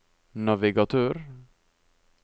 navigatør